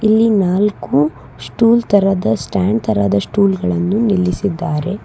ಇಲ್ಲಿ ನಾಲ್ಕು ಸ್ಟೂಲ್ ತರಾದ ಸ್ಟ್ಯಾಂಡ್ ತರಹದ ಸ್ಟೂಲ್ ಗಳನ್ನು ನಿಲ್ಲಿಸಿದ್ದಾರೆ.